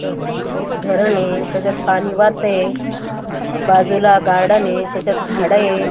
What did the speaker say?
एक धरण आहे त्याच्यात पाणी वाहतय बाजूला गार्डन आहे त्याच्यात झाड ये--